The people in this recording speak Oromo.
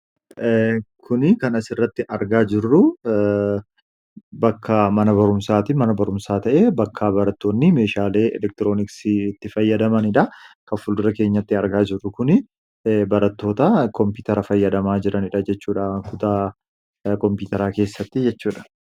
Kuni kana asirratti argaa jirru bakka mana barumsaati mana barumsaa ta'e bakkaa barattoonni meeshaalee elektirooniksi itti fayyadamaniidha kanfuldura keenyatti argaa jirru kun barattoota koompitara fayyadamaa jiraniidha jechuudha kutaa koompitaraa keessatti jechuudha.